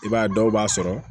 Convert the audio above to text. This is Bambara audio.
I b'a ye dɔw b'a sɔrɔ